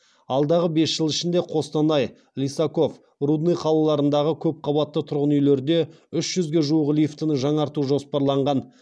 алдағы бес жыл ішінде қостанай лисаков рудный қалаларындағы көп қабатты тұрғын үйлерде үш жүзге жуық лифтіні жаңарту жоспарланған